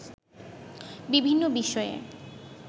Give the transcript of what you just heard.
বিভিন্ন বিষয়ে